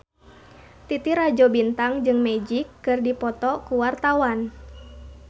Titi Rajo Bintang jeung Magic keur dipoto ku wartawan